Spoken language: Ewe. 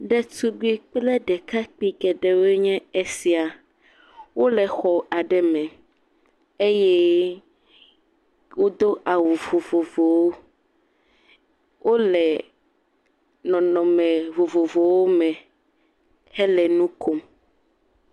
Ɖetugbui kple ɖekakpui geɖewoe nye esia, wole exɔ aɖe me eye wodo awu vovovowo eye wole nɔnɔme vovovowo me hele nu kom.